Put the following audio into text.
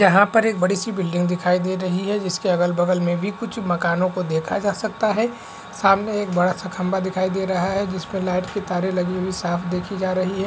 यहाँ पर एक बड़ी सी बिल्डिंग दिखाई दे रही है जिसके अगल बगल में भी कुछ मकानों को देखा जा सकता है सामने एक बड़ा सा खम्बा दिखाई दे रहा है जिसपे लाइट की तारे लगी हुई साफ़ देखी जा रही है।